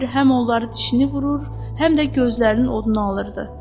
Elə bil həm onları dişini vurur, həm də gözlərinin oduna alırdı.